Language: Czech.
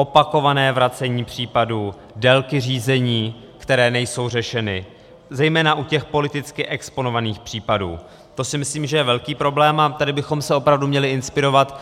Opakované vracení případů, délky řízení, které nejsou řešeny zejména u těch politicky exponovaných případů, to si myslím, že je velký problém, a tady bychom se opravdu měli inspirovat